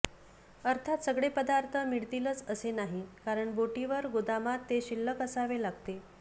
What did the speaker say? अर्थात सगळे पदार्थ मिळतिलच असे नाही कारण बोटीवर गोदामात ते शिल्लक असावे लागते